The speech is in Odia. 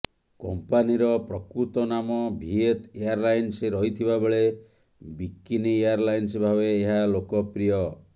କମ୍ପାନୀର ପ୍ରକୃତ ନାମ ଭିଏତ୍ ଏୟାରଲାଇନ୍ସ ରହିଥିବା ବେଳେ ବିିକିନି ଏୟାରଲାଇନ୍ସ ଭାବେ ଏହା ଲୋକପ୍ରିୟ